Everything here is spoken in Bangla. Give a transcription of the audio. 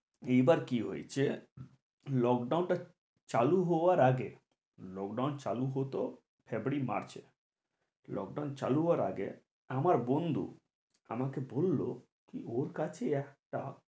এবার কি হয়েছে lockdown টা চালু হবার আগে lockdown চালু হতো ফেব্রুয়ারি মার্চে lockdown চালু হবার আগে আমার বন্ধু আমাকে বললো ওর কাছে একটা